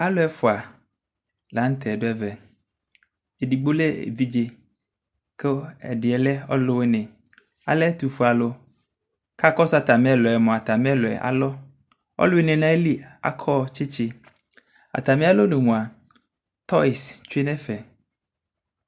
Alʊɛƒʊa laɲutɛ ɗʊɛvɛ Edigbo lɛ ɛvidze, ku ediɛ lɛ ɔlʊwiɲɩ Alɛ ɛtʊƒue alʊ Kakɔsʊ atamielʊɛmʊa Atamielʊɛ alɔ, Ɔlʊwiɲi ɲayi akɔ tsitsi Atamialɔɲumua toyɩsɩ tweɲevɛ